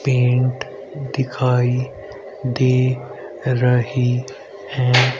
Paint दिखाई दे रही हैं।